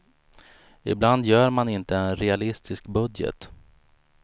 Ibland gör man inte en realistisk budget.